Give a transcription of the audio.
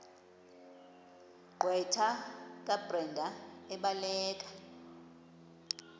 gqwetha kabrenda ebhalela